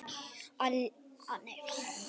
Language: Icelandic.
Að láta einhvern sigla sinn sjó